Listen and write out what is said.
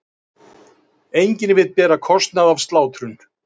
Enginn vill bera kostnað af slátrun